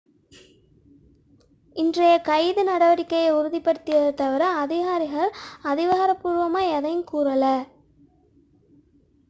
இன்றைய கைது நடவடிக்கையை உறுதிப்படுத்தியதைத் தவிர அதிகாரிகள் அதிகாரப்பூர்வமாக எதையும் கூறவில்லை